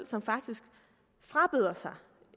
sig faktisk